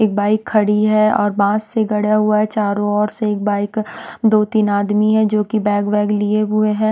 एक बाइक खड़ी हैं और बांस से गड़ा हुआ हैं चारों ओर से एक बाइक दो-तीन आदमी हैं जो कि बैग वैग लिए हुए हैं।